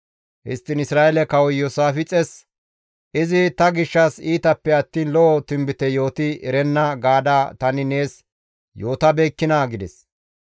Histtiin Isra7eele kawoy Iyoosaafixes, « ‹Izi ta gishshas iitappe attiin lo7o tinbite yooti erenna› gaada tani nees yootabeekkinaa?» gides.